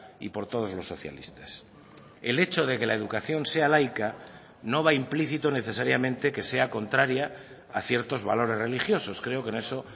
y por todos los socialistas el hecho de que la educación sea laica no va implícito necesariamente que sea contraria a ciertos valores religiosos creo que en eso